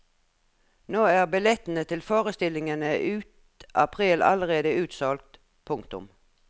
Nå er billettene til forestillingene ut april allerede utsolgt. punktum